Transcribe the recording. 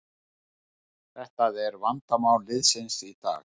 Þetta er vandamál liðsins í dag